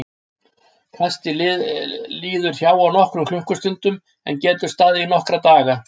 Kastið liður hjá á nokkrum klukkustundum en getur staðið í nokkra daga.